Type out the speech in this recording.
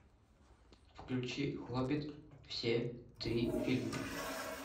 включи хоббит все три фильма